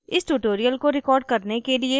इस tutorial को record करने के लिए मैं उपयोग कर रही हूँ: